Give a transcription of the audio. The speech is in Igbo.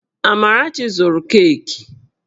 Amarachi zụru keeki